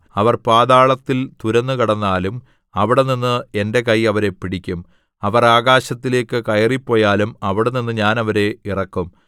അവർ പാതാളത്തിൽ തുരന്നുകടന്നാലും അവിടെനിന്ന് എന്റെ കൈ അവരെ പിടിക്കും അവർ ആകാശത്തിലേക്ക് കയറിപ്പോയാലും അവിടെനിന്ന് ഞാൻ അവരെ ഇറക്കും